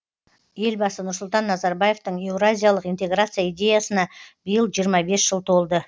елбасы нұрсұлтан назарбаевтың еуразиялық интеграция идеясына биыл жиырма бес жыл толды